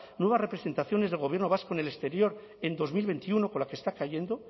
nuevas representaciones del gobierno vasco en el exterior en dos mil veintiuno con la que está cayendo